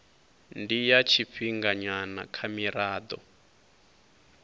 ndi ya tshifhinganyana kha mirado